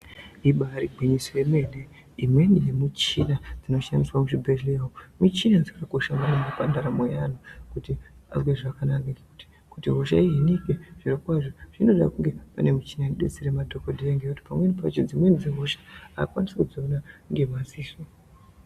Ibari igwinyoso yemene imweni michina inoshandiswa muzvibhehlera umu, michina dzinokasha maningi pandaro yevanhu kuti varapike zvakanaka maningi kuti hosha ihinike panoda pane michina enodetsera vanhu ngekuti dzimweni hosha adzikwanisi kudziona ngemadziso.